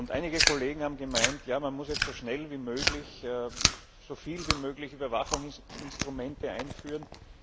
Einige Kollegen haben gemeint, ja, man muss jetzt so schnell wie möglich und so viel wie möglich Überwachungsinstrumente einführen.